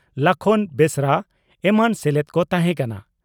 ᱞᱟᱠᱷᱚᱱ ᱵᱮᱥᱨᱟ ᱮᱢᱟᱱ ᱥᱮᱞᱮᱫ ᱠᱚ ᱛᱟᱦᱮᱸ ᱠᱟᱱᱟ ᱾